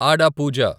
ఆడా పూజ